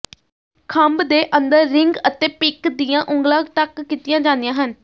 ਖੰਭ ਦੇ ਅੰਦਰ ਰਿੰਗ ਅਤੇ ਪਿੰਕ ਦੀਆਂ ਉਂਗਲਾਂ ਟੱਕ ਕੀਤੀਆਂ ਜਾਂਦੀਆਂ ਹਨ